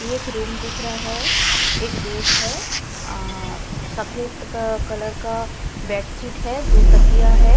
एकक रूम दिख रहा है एक बेड है अ सफ़ेद अ कलर का बेडशीट है दो तकिया है।